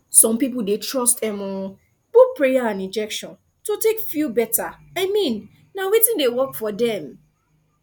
some people dey trust um both prayer and injection to take feel better i mean na wetin dey work for dem